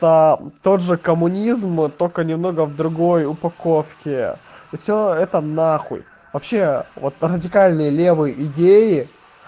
тот же коммунизм только немного в другой упаковке всё это нахуй вообще вот радикальные левые идеи